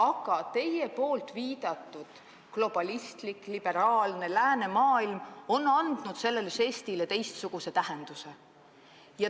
Aga teie viidatud globalistlik, liberaalne läänemaailm on andnud sellele žestile teistsuguse tähenduse.